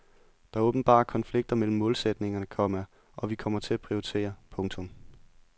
Der er åbenbare konflikter mellem målsætningerne, komma og vi kommer til at prioritere. punktum